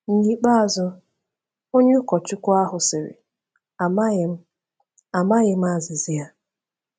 N’ikpeazụ, onye ụkọchukwu ahụ sịrị, “Amaghị m “Amaghị m azịza ya.